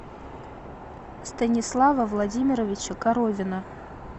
станислава владимировича коровина